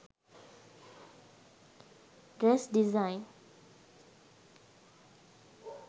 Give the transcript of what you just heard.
dress design